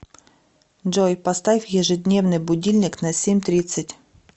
джой поставь ежедневный будильник на семь тридцать